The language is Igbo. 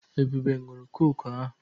Ebube ṅụụrụ kọ́kụ́ ụnyahụ.